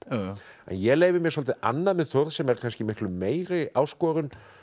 ég leyfi mér svolítið annað með Þórð sem er kannski miklu meiri áskorun